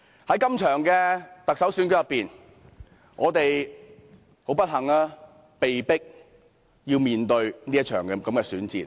在這次特首選舉中，我們不幸地被迫面對這場選戰。